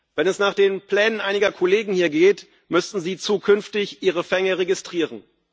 Wenn es nach den Plänen einiger Kollegen hier geht, müssten Sie zukünftig Ihre Fänge registrieren.